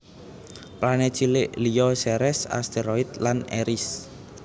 Planet cilik liya Ceres asteroid lan Eris